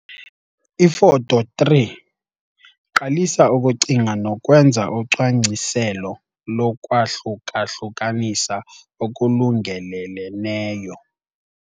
Ifoto 3- Qalisa ukucinga nokwenza ucwangciselo lokhwahluka-hlukanisa okulungeleleneyo.